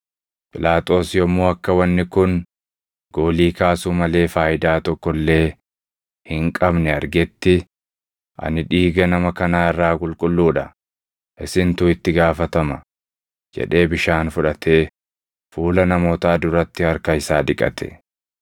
Phiilaaxoos yommuu akka wanni kun goolii kaasuu malee faayidaa tokko illee hin qabne argetti, “Ani dhiiga nama kanaa irraa qulqulluu dha; isintu itti gaafatama!” jedhee bishaan fudhatee fuula namootaa duratti harka isaa dhiqate.